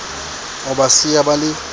o ba siya ba le